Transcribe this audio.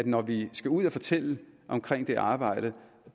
når vi skal ud at fortælle om det arbejde